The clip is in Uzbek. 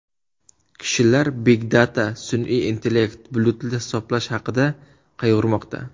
Kishilar Big Data, sun’iy intellekt, bulutli hisoblash haqida qayg‘urmoqda.